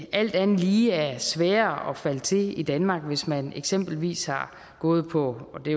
alt andet lige er sværere at falde til i danmark hvis man eksempelvis har gået på og det